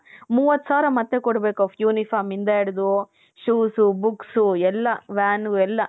ಮೂವತ್ ಸಾವಿರ ಮತ್ತೆ ಕೊಡ್ಬೇಕ್ uniform ಇಂದ ಇಡ್ದು shoes, books ಎಲ್ಲಾ van ಉ ಎಲ್ಲಾ .